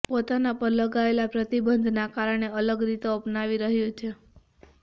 પોતાના પર લગાવેલા પ્રતિબંધના કારણે અલગ રીતો અપનાવી રહ્યુ છે